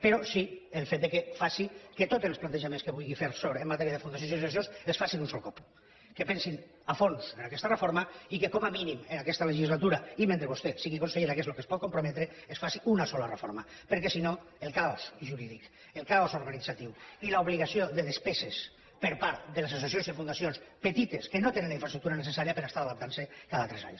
però sí al fet que faci que tots els plantejaments que vulgui fer en matèria de fundacions i associacions els faci d’un sol cop que pensin a fons en aquesta reforma i que com a mínim en aquesta legislatura i mentre vostè sigui consellera que és al que es pot comprometre es faci una sola reforma perquè si no el caos jurídic el caos organitzatiu i l’obligació de despeses per part de les associacions i fundacions petites que no tenen la infraestructura necessària per estar adaptant se cada tres anys